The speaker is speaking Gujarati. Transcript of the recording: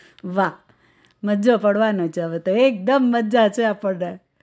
વાહ મજો પડવાનો છે હવે તો એકદમ મજા છે આપણને